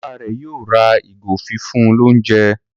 Bàbá rẹ yóò ra ìgò fífún l'ounjẹ.